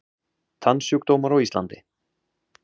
Tannsjúkdómar á Íslandi